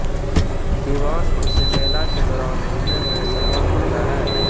दीवान उसे मेला के दौरान ढूंढने में सफल होता है